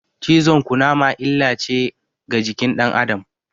Cizon Ƙunama illa ne ga jikin dan Adam